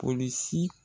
Polisi